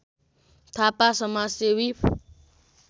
थापा समाजसेवी